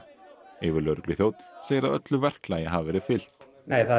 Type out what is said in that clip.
yfirlögregluþjónn segir að öllu verklagi hafi verið fylgt